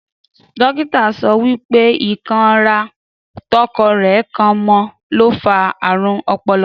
Dókítà sọ wípé; Ikan rà tọkọ rẹ kan mọ, lo fa ààrùn ọpọlọ